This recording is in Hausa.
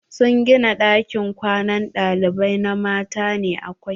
Sun gina ɗakin kwanan ɗalibai na mata ne kawai.